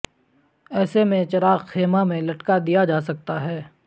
ایسے میں چراغ خیمہ میں لٹکا دیا جا سکتا ہے